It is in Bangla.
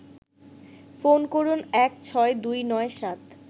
ফোন করুন১৬২৯৭